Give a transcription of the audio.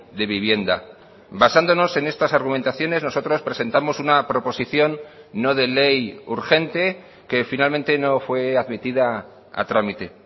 de vivienda basándonos en estas argumentaciones nosotros presentamos una proposición no de ley urgente que finalmente no fue admitida a trámite